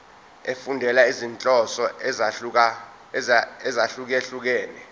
efundela izinhloso ezahlukehlukene